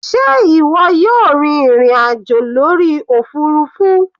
Sé ìwọ yóò rin ìrìn àjò lórí òfurufú?